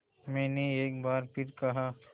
मैंने एक बार फिर कहा